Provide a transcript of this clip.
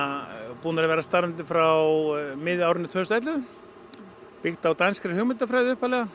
búnir að vera starfandi frá miðju árinu tvö þúsund og ellefu byggt á danskri hugmyndafræði